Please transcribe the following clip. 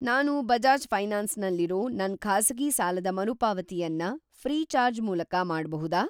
ನಾನು ಬಜಾಜ್‌ ಫೈನಾನ್ಸ್ ನಲ್ಲಿರೋ ನನ್‌ ಖಾಸಗಿ ಸಾಲದ ಮರುಪಾವತಿಯನ್ನ ಫ್ರೀಚಾರ್ಜ್ ಮೂಲಕ ಮಾಡ್ಬಹುದಾ?